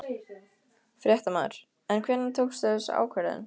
Fréttamaður: En hvenær tókstu þessa ákvörðun?